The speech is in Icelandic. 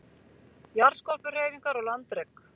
Jarðskorpuhreyfingar og landrek